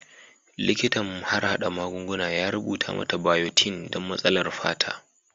Likitan harhada magunguna ya rubuta mata bayotin don matsalar fata.